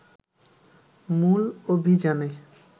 মূল অভিযানে